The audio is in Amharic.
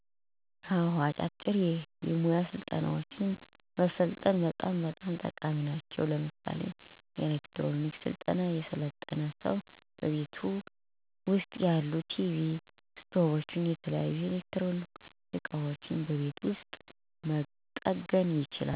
አወ፥ አጫጭር የሞያ ስልጠናወችን መሰልጠን በጣም በጣም ጠቃሚ ናቸው። ለምሳሌ፦ ኤሌክትሮኒክ ስልጠና የሰለጠነ ሰው በቤቱ ውስጥ ያሉ ቲቪ፣ ስቶቭና የተለያዩ የኤሌክትሮኒክ እቃወችን በቤቱ ውስጥ መጠገን ይችላል።